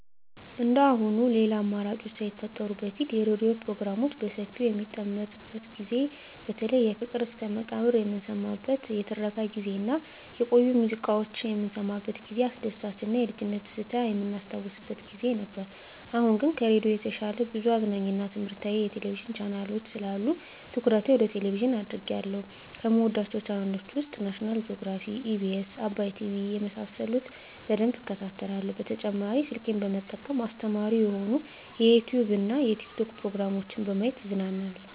እንደአሁኑ ሌላ አማራጮች ሳይፈጠሩ በፊት የሬዲዮ ፕሮግራሞች በሰፊው በሚደመጥበት ጊዜ በተለይ ፍቅር እስከመቃብር የምንሰማበት የትረካ ጊዜ እና የቆዩ ሙዚቃዎች የምንሰማበት ጊዜ አስደሳች እና የልጅነት ትዝታ የምናስታውስበት ጊዜ ነበር። አሁን ግን ከሬዲዮ በተሻለ ብዙ አዝናኝ እና ትምህረታዊ የቴሌቪዥን ቻናሎች ስላሉ ትኩረቴ ወደ ቴሌቭዥን አድርጌአለሁ። ከምወዳቸው ቻናሎች ውስጥ ናሽናል ጆግራፊ, ኢቢኤስ, አባይ ቲቪ የመሳሰሉት በደንብ እከታተላለሁ። በተጨማሪ ስልኬን በመጠቀም አስተማሪ የሆኑ የዩቲዉብ እና የቲክቶክ ፕሮግራሞችን በማየት እዝናናለሁ።